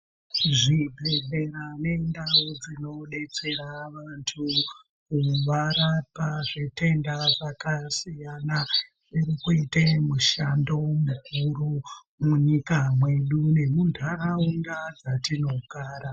Zvibhedhlera nendau dzinodetsera vantu kuvarapa zvitenda zvakasiyana, zviri kuite mushando mukuru munyika mwedu nemuntaraunda dzatinogara.